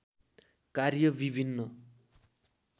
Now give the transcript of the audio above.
कार्य विभिन्न